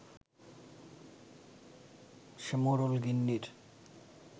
সে মোড়ল-গিন্নির